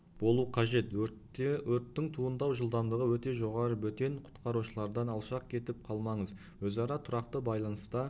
болу қажет өрттің туындау жылдамдығы өте жоғары бөтен құтқарушылардан алшақ кетіп қалмаңыз өзара тұрақты байланыста